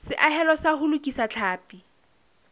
seahelo sa ho lokisa tlhapi